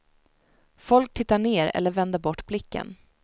Folk tittar ner eller vänder bort blicken.